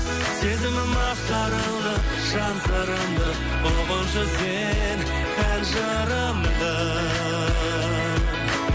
сезімім ақтарылды жан сырымды ұғыншы сен ән жырымды